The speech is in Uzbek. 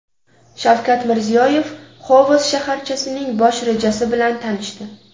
Shavkat Mirziyoyev Xovos shaharchasining bosh rejasi bilan tanishdi.